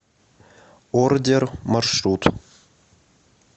ордер маршрут